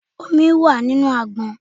Omi wà nínú àgbọn.